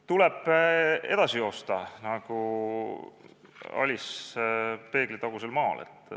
Tuleb edasi joosta nagu Alice peeglitagusel maal.